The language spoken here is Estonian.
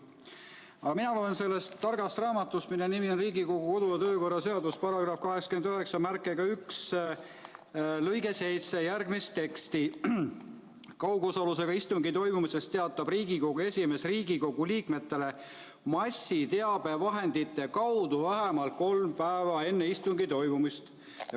Aga mina loen sellest targast raamatust, mille nimi on Riigikogu kodu- ja töökorra seadus, § 891 lõikest 7 järgmist teksti: "Kaugosalusega istungi toimumisest teatab Riigikogu esimees Riigikogu liikmetele massiteabevahendite kaudu vähemalt kolm päeva enne istungi toimumist.